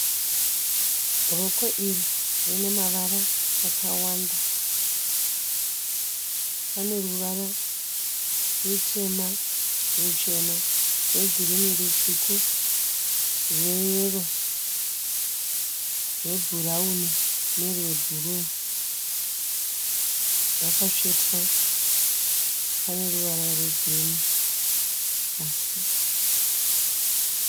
Rokwe iri rine mavara akawanda. Pane ruvara rutema, ruchena, rwegirini, rutsvuku, rweyero, rwebhurauni nerwebhuruu. Rakatsvetwa pane ruvara rwegirini pasi.